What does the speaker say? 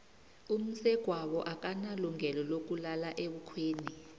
umsegwabo akanalungelo lokulala ebukhweni